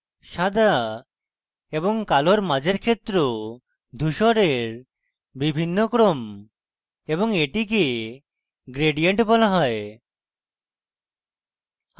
সাদা এবং কালোর মাঝের ক্ষেত্র ধুসরের বিভিন্ন ক্রম এবং এটিকে gradient বলা হয়